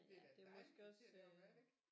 Det er da et dejligt kvarter deroppe er det ikke